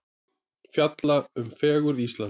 Fjalla um fegurð Íslands